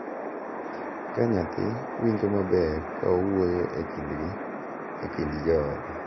Ka nyathi winjo maber ka owuoyo e kindgi e kind joode, .